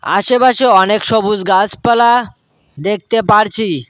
আশেপাশে অনেক সবুস গাসপালা দেখতে পারছি।